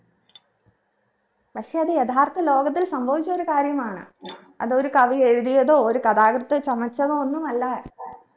പക്ഷെ അത് യഥാർത്ഥ ലോകത്തിൽ സംഭവിച്ച ഒരു കാര്യമാണ് അത് ഒരു കവി എഴുതിയതോ ഒരു കഥാകൃത്ത് ചമച്ചതോ ഒന്നുമല്ല